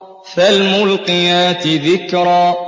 فَالْمُلْقِيَاتِ ذِكْرًا